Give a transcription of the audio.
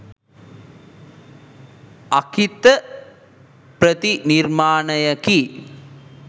අංකිත ප්‍රතිනිර්මාණයකි.